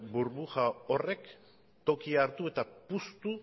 burbuja horrek tokia hartu eta puztu